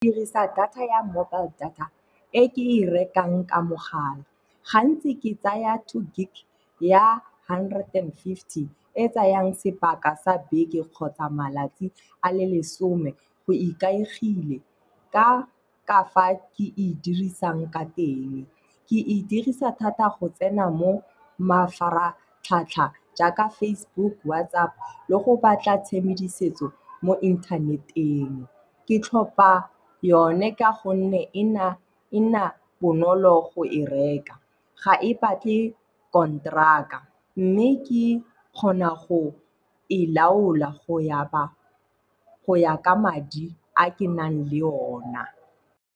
Ke dirisa data ya mobile data e ke e rekang ka mogala. Gantsi ke tsaya two gig ya hundred and fifty e tsayang sebaka sa beke kgotsa malatsi a le lesome. Go ikaegile ka fa ke e dirisang ka teng. Ke e dirisa thata go tsena mo mafaratlhatlha jaaka Facebook, WhatsApp le go batla tshedimosetso mo internet-eng. Ke tlhopa yone ka gonne e nna bonolo go e reka. Ga e batle konteraka mme ke kgona go e laola go ya ka madi a ke nang le ona.